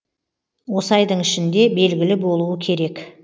осы айдың ішінде белгілі болуы керек